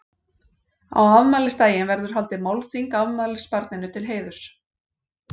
Á afmælisdaginn verður haldið málþing afmælisbarninu til heiðurs.